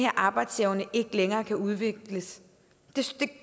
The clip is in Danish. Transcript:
arbejdsevne ikke længere kan udvikles